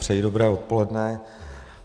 Přeji dobré odpoledne.